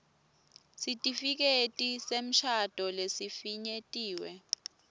sitifiketi semshado lesifinyetiwe